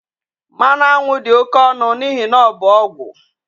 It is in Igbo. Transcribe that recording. Mmanụ aṅụ dị oke ọnụ n'ihi na ọ bụ ọgwụ